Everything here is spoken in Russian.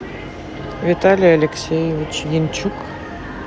виталий алексеевич янчук